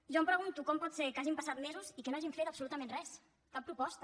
jo em pregunto com pot ser que hagin passat mesos i que no hagin fet absolutament res cap proposta